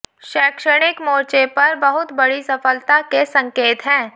शैक्षणिक मोर्चे पर बहुत बङी सफलता के संकेत हैं